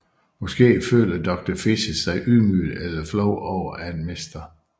Måske føler Doctor Fischer sig ydmyget eller flov over at Mr